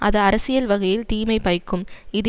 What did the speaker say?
அது அரசியல் வகையில் தீமை பயக்கும் இது